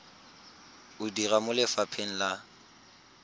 o dira mo lefapheng la